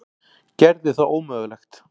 Gerði það ómögulegt.